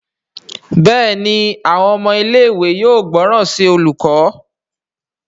Béèni Àwọn ọmọ ilé ìwé yóò gbóròn sí olùkó.